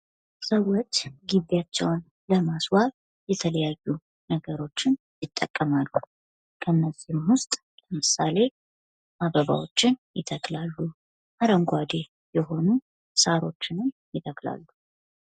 ሰዎች ግቢያቸውን ለማስዋብ የተለያዩ ነገሮችን ይጠቀማል። ከነዚህም መካከል አበባ ይተክላሉ፣ አረንጓዴ የሆኑ ሳሮችን ይተክላሉ።